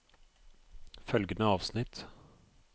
Følgende avsnitt